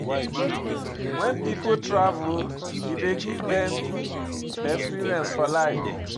When pipo travel e dey give dem experience for life